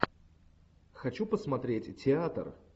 хочу посмотреть театр